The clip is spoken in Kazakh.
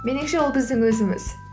меніңше ол біздің өзіміз